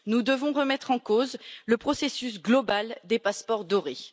Nous devons remettre en cause le processus global des passeports dorés.